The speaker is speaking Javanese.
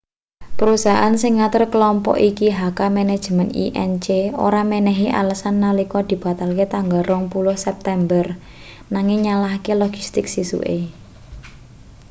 perusahaan sing ngatur klompok iki hk manajemen inc ora menehi alesan nalika dibatalke tanggal 20 september nanging nyalahke logistik sesuke